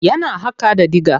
Yana haƙa da dIga.